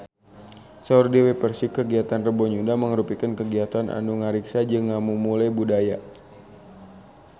Saur Dewi Persik kagiatan Rebo Nyunda mangrupikeun kagiatan anu ngariksa jeung ngamumule budaya Sunda